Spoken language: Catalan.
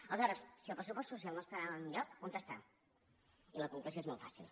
aleshores si el pressupost social no està enlloc on està i la conclusió és molt fàcil